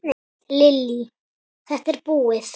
Lillý:. þetta búið?